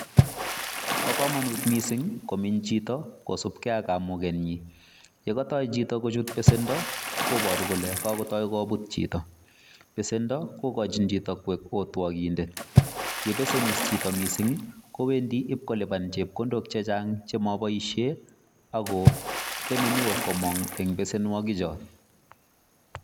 Bo komonut mising komenye chito kosub ge ak kamugenyin, ye katoi chito kochut besendo koboru kole kagotoi kobut chito besendo kogochin chito koik otwogindet ye besenis chito mising' kowendi ibkoliban chepkondok chechang' che moboishen ago temenen komong' en besenwogik choto.